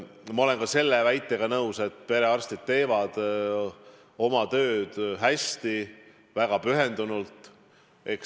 Ma olen ka selle väitega nõus, et perearstid teevad oma tööd hästi, väga pühendunult.